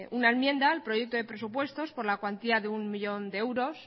una enmienda al proyecto de presupuesto por la cuantía de uno millón de euros